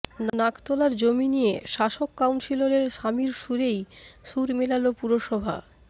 নাকতলার জমি নিয়ে শাসক কাউন্সিলরের স্বামীর সুরেই সুর মেলাল পুরসভা